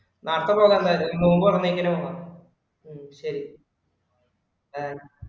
അപ്പൊ പോകാം എന്തായാലും നോമ്പ് തുറന്നേക്കണ് പോകാം ഉം ശരി bye